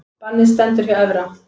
Bannið stendur hjá Evra